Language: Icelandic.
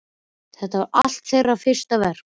Það er alltaf þeirra fyrsta verk.